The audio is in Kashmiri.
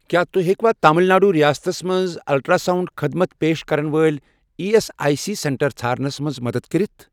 کیٛاہ تُہۍ ہیٚکوا تامِل ناڈوٗ رِیاستس مَنٛز الٹرٛاساوُنٛڈ خدمت پیش کرن وٲلۍ E S I C centre ژھارنَس مَنٛز مدد کٔرِتھ؟